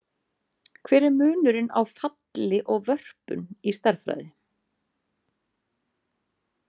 Hver er munurinn á falli og vörpun í stærðfræði?